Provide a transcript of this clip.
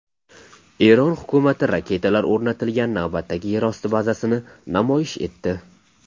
Eron hukumati raketalar o‘rnatilgan navbatdagi yerosti bazasini namoyish etdi.